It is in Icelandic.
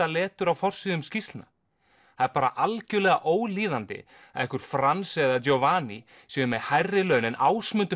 letur á forsíðum skýrslna það er bara algjörlega ólíðandi að einhver Frans eða Giovanni séu með hærri laun en Ásmundur